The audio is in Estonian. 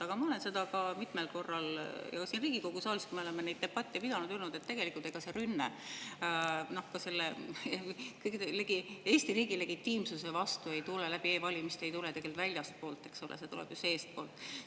Aga ma olen mitmel korral siin Riigikogu saalis, kui me oleme neid debatte pidanud, öelnud, et tegelikult see rünne Eesti riigi legitiimsuse vastu läbi e-valimiste ei tule tegelikult väljastpoolt, eks ole, see tuleb ju seestpoolt.